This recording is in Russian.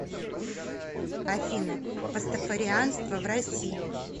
афина пастафарианство в россии